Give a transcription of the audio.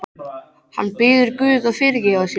Hann biður guð að fyrirgefa sér.